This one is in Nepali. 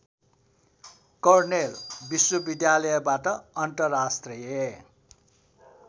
कर्नेल विश्वविद्यालयबाट अन्तर्राष्ट्रिय